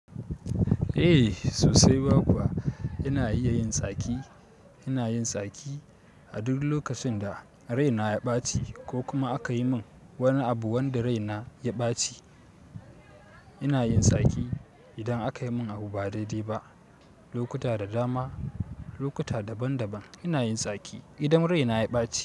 Eh sosai ma kuwa ina iya yin tsaki, ina yin tsaki a duk lokacin da rai na ya ɓaci ko kuma aka yi min wani abu wanda rai na ya ɓaci. Ina yin tsaki idan aka yi min abu ba daidai ba, lokuta da dama, lokuta daban daban. Ina yin tsaki idan rai na ya ɓaci.